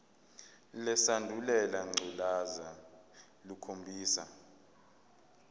lesandulela ngculazi lukhombisa